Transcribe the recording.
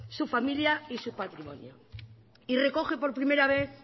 su familia y su patrimonio y recoge por primera vez